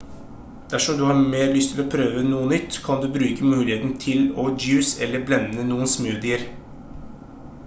dersom du har mer lyst til å prøve noe nytt kan du bruke muligheten til å juice eller blende noen smoothier